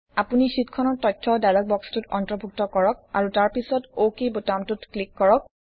আপুনি শ্বিটখনৰ তথ্য ডায়্লগ বক্সটোত অন্তৰ্ভুক্ত কৰক আৰু তাৰ পিছত অক বুতামটোত ক্লিক কৰক